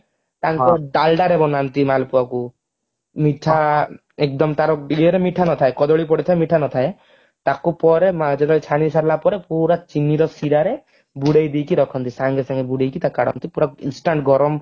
ତାଙ୍କ ଡାଲଡାରେ ବନାନ୍ତି ମାଲପୁଆକୁ ମିଠା ଏକଦମ ତାର ଇଏରେ ମିଠା ନଥାଏ କଦଳୀ ପଡିଥାଏ ମିଠା ନଥାଏ ତାକୁ ପରେ ଯେତେବେଳ ଛାଣି ସାରିଲା ପରେ ପୁରା ଚିନିର ସିରାରେ ବୁଡେଇଦେଇକି ରଖନ୍ତି ସାଙ୍ଗେ ସାଙ୍ଗେ ବୁଡେଇକି କାଢନ୍ତି ପୁରା instant ଗରମ